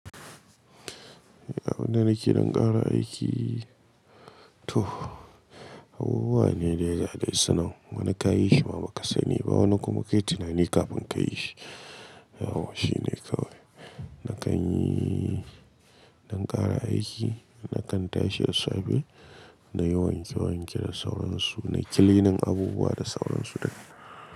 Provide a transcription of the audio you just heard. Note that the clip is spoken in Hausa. Da abinda nake ɗan ƙara aiki to abubuwa ne dai ga dai sunan wani ka yima bakasaniba wani kuma kai tunani kafin kayishi Yau shi ne kawai. Na ƙan yi ɗan ƙara aiki, na ƙan tashi da safe, na yi wanke wanke da sauransu, na yi kilinan abubuwa da sauransu duka.